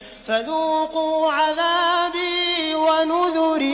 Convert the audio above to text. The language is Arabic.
فَذُوقُوا عَذَابِي وَنُذُرِ